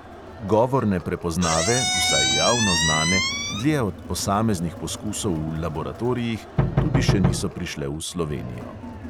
Govorne prepoznave, vsaj javno znane, dlje od posameznih poskusov v laboratorijih, tudi še niso prišle v slovenijo.